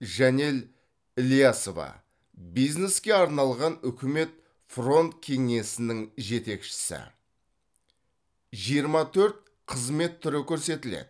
жанел ілиясова бизнеске арналған үкімет фронт кеңсесінің жетекшісі жиырма төрт қызмет түрі көрсетіледі